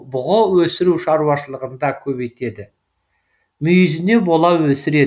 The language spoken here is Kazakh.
бұғы өсіру шаруашылығында көбейтеді мүйізіне бола өсіреді